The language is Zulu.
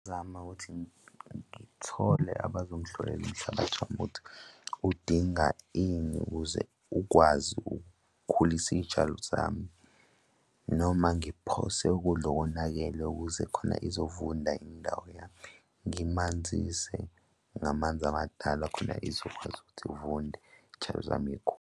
Zama ukuthi ngithole abazongihlolela umhlabathi wami ukuthi, udinga ini ukuze ukwazi ukukhulisa iy'tshalo zami noma ngiphose ukudla okonakele ukuze khona izovunda indawo yami. Ngimanzise ngamanzi amadala khona izokwazi ukuthi uvunde iy'tshalo zami y'khule.